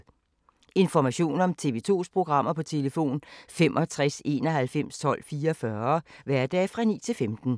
Information om TV 2's programmer: 65 91 12 44, hverdage 9-15.